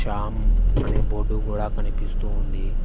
చామ్ అనే బోర్డు కూడా కనిపిస్తూ ఉంది.